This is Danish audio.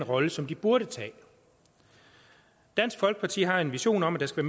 rolle som de burde tage dansk folkeparti har en vision om at der skal